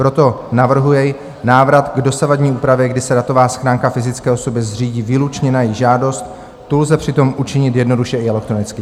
Proto navrhuje návrat k dosavadní úpravě, kdy se datová schránka fyzické osoby zřídí výlučně na její žádost, tu lze přitom učinit jednoduše i elektronicky.